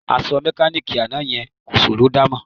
Aṣọ mẹkáníìkì àná yẹn kò ṣòró dámọ̀